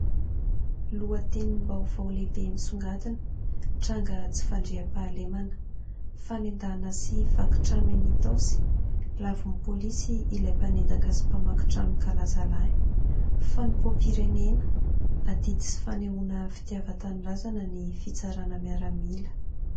Lohatenim- baovao lehibe misongadina : tranga tsy fandriam-pahalemana fanendahana sy vakitrano eny itaosy, lavon'ny polisy ilay mpanendaka sy mpamakin-trano kalazalahy .Fanopoam-pirenena , adidy sy fanehoana fitiavan -tanindrazana ny fitsarana miaramila .